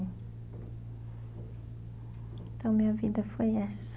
Então minha vida foi essa.